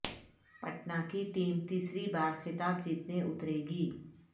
پٹنہ کی ٹیم تیسری بار خطاب جیتنے اترے گی